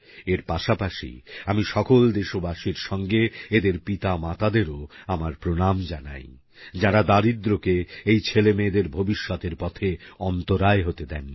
এর পাশাপাশি আমি সকল দেশবাসীর সঙ্গে এদের পিতামাতাদেরও আমার প্রনাম জানাই যারা দারিদ্র্যকে এই ছেলেমেয়েদের ভবিষ্যতের পথে অন্তরায় হতে দেননি